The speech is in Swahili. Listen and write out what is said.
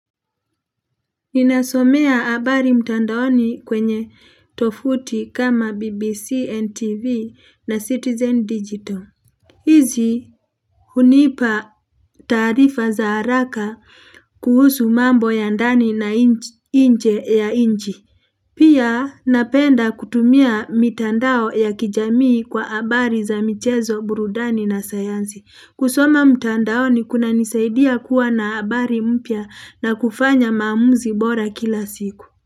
Ninasomea habari mtandaoni kwenye tovuti kama BBC, NTV na Citizen Digital. Hizi hunipa taarifa za haraka kuhusu mambo ya ndani na inje ya inchi Pia napenda kutumia mitandao ya kijamii kwa habari za michezo, burudani na sayansi. Kusoma mtandao ni kuna nisaidia kuwa na habari mpya na kufanya maamuzi bora kila siku.